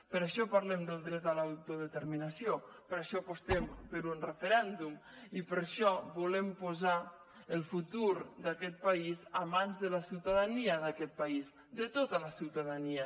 per això parlem del dret a l’autodeterminació per això apostem per un referèndum i per això volem posar el futur d’aquest país a mans de la ciutadania d’aquest país de tota la ciutadania